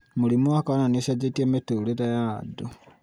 mũrimũ wa korona nĩ ũchenjetie mĩtũũrĩre ya andũ